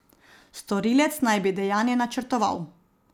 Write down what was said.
Storilec naj bi dejanje načrtoval.